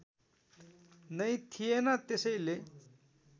नै थिएन त्यसैले